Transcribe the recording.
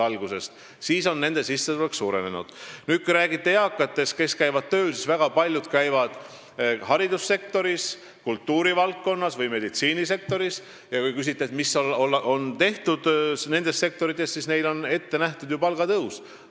Kui te räägite eakatest, kes käivad tööl, siis väga paljud käivad haridussektoris, kultuurivaldkonnas või meditsiinisektoris, ja küsite, mis on tehtud nendes sektorites, siis neile on ette nähtud palgatõus.